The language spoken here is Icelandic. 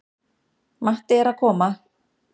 Matti er að koma!